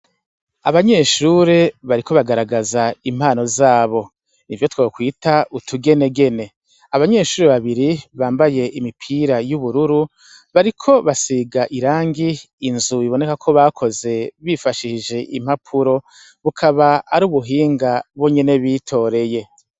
Abanyeshuri bariko bagaragaza impano zabo ni vyo twokwita utugenegene abanyeshuri babiri bambaye imipira y'ubururu bariko basiga irangi inzu biboneka ko bakoze bifashishishe impapuro bukaba ari ubuhinga bo nyene bitoreye.